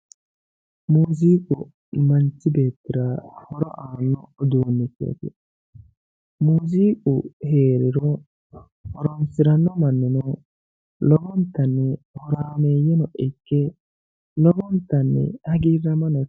Muziiqu manchu beettira horo aano uduunichoti, muziiqu heeriro horonsirano mannino lowontanni horameyeno ikke lowontanni hagiiramono ikkano.